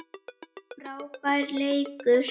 Frábær leikur.